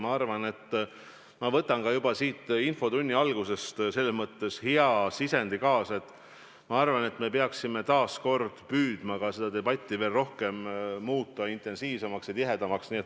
Ma arvan, et ma võtan siit infotunni algusest kaasa hea sisendi, et me peaksime püüdma muuta seda debatti veel intensiivsemaks ja tihedamaks.